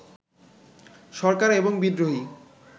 সরকার এবং বিদ্রোহী